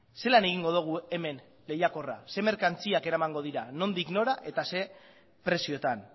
zelan egingo dugu hemen lehiakorra ze merkantziak eramango dira nondik nora eta ze prezioetan